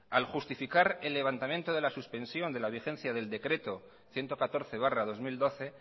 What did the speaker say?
al justificar el levantamiento de la suspensión de la vigencia del decreto ciento catorce barra dos mil doce